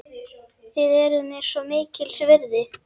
Þið eruð mér svo mikils virði.